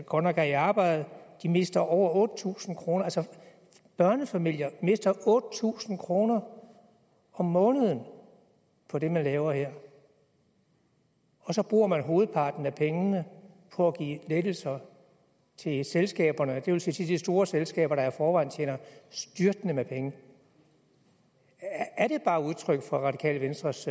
godt nok er i arbejde mister over otte tusind kroner altså børnefamilier mister otte tusind kroner om måneden på det man laver her og så bruger man hovedparten af pengene på at give lettelser til selskaberne det vil sige til de store selskaber der i forvejen tjener styrtende med penge er det bare udtryk for radikale venstres